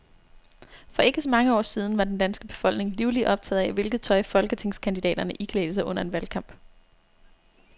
For ikke så mange år siden var den danske befolkning livligt optaget af, hvilket tøj folketingskandidaterne iklædte sig under en valgkamp.